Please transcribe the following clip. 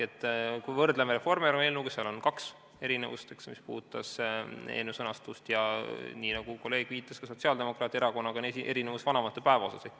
Kui võrdleme Reformierakonna eelnõuga, siis seal on kaks erinevust, mis puudutasid eelnõu sõnastust, ja nii nagu kolleeg viitas, on sotsiaaldemokraatide eelnõuga võrreldes erinevus vanavanemate päeva puhul.